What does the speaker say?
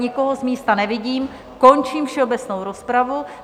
Nikoho z místa nevidím, končím všeobecnou rozpravu.